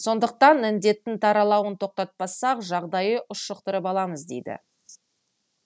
сондықтан індеттің таралауын тоқтатпасақ жағдайды ушықтырып аламыз деді